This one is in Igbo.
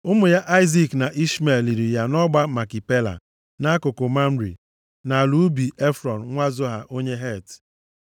Ụmụ ya, Aịzik na Ishmel, liri ya nʼọgba Makipela nʼakụkụ Mamre, nʼala ubi Efrọn nwa Zoha onye Het,